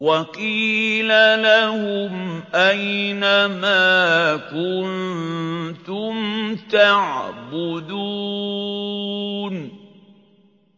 وَقِيلَ لَهُمْ أَيْنَ مَا كُنتُمْ تَعْبُدُونَ